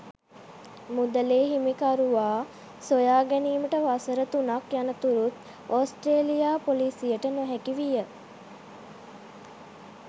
මුදලේ හිමිකරුවා සොයා ගැනීමට වසර තුනක් යනතුරුත් ඕස්ට්‍රේලියා පොලිසියට නොහැකි විය.